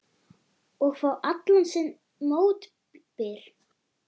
Og fá allan sinn mótbyr.